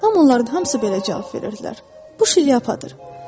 Amma onların hamısı belə cavab verirdilər: Bu şlyapadır.